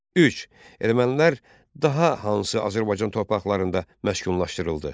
Üç Ermənilər daha hansı Azərbaycan torpaqlarında məskunlaşdırıldı?